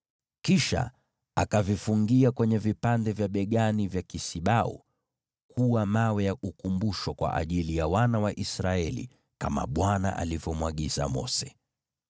Kisha akavifungia kwenye vipande vya mabega ya kisibau kuwa vito vya ukumbusho kwa wana wa Israeli, kama Bwana alivyomwagiza Mose.